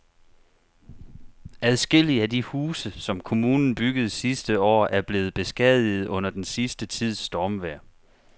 Adskillige af de huse, som kommunen byggede sidste år, er blevet beskadiget under den sidste tids stormvejr.